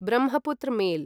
Brahmaputra mail